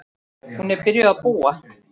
Hún er byrjuð að búa!